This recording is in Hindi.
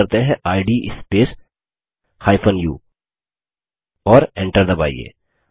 कमांड टाइप करते हैं इद स्पेस u और enter दबाइए